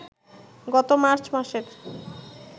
গত মার্চ মাসের